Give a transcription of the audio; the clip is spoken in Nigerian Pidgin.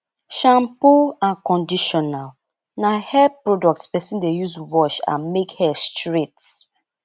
shampoo and conditional na hair products person de use wash and make hair straight